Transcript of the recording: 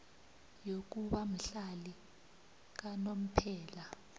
yokuba mhlali kanomphela